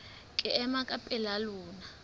ke ema ka pela lona